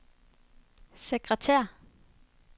sekretær